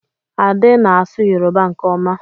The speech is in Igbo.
Ade na-asụ Yoruba nke ọma.